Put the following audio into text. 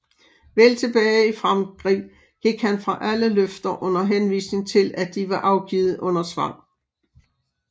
Vel tilbage i Frankrig gik han fra alle løfter under henvisning til at de var afgivet under tvang